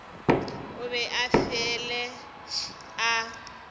o be a fele a